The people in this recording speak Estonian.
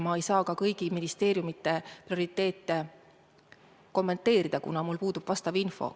Ma ei saa ka kõigi ministeeriumide prioriteete kommenteerida, kuna mul puudub info.